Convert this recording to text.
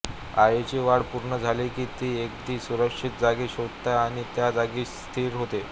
अळीची वाढ पूर्ण झाली की ती एखादी सुरक्षित जागा शोधते आणि त्या जागी स्थिर होते